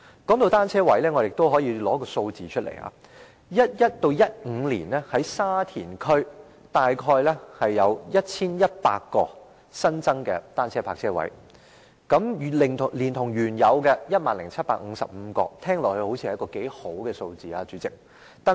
談到單車車位，我可以列出一些數字，在2011年至2015年間，沙田區約有 1,100 個新增的單車泊車位，再加上原有的 10,755 個，似乎是不錯的數目。